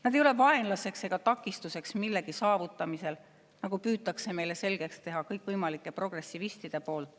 Nad ei ole vaenlased ega takistus millegi saavutamisel, nagu kõikvõimalikud progressivistid püüavad meile selgeks teha.